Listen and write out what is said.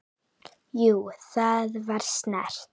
Jú, það var snert